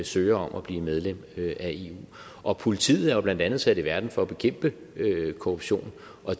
søger om at blive medlem af eu og politiet er jo blandt andet sat i verden for at bekæmpe korruption